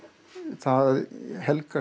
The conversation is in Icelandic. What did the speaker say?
það helgast